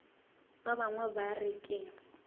ba bangwe ba re ke